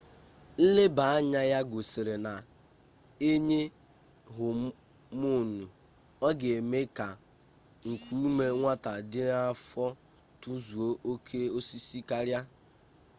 nlebaanya ya gosiri na e nye homonu ọ ga-eme ka nkuume nwata dị n'afọ tozuo oke ọsịsọ karịa